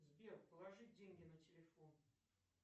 сбер положи деньги на телефон